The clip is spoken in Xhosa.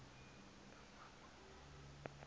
engqamakhwe